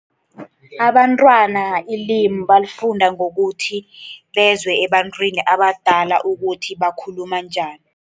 Abantwana ilimu balifunda ngokuthi bezwe ebantwini abadala ukuthi bakhuluma njani.